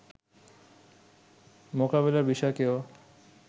মোকাবিলার বিষয়কেও